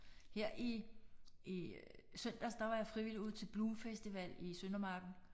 Her i i søndags der var jeg frivillig ude til Bloom festival i Søndermarken